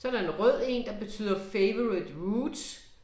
Så der en rød én, der betyder favourite roots